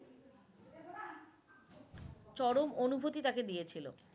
চরম অনুভূতি তাকে দিয়েছিলো।